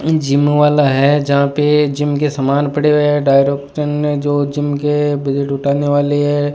ये जिम वाला है जहां पे जिम के समान पड़े हुए हैं डायरेक्टर में जो जिम के उठाने वाली है।